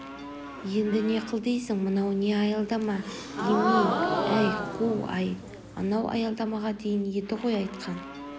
енді не қыл дейсің мынау не аялдама емей әй қу-ай анау аялдамаға дейін еді ғой айтқан